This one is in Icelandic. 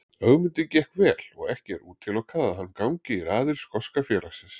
Ögmundi gekk vel og ekki er útilokað að hann gangi í raðir skoska félagsins.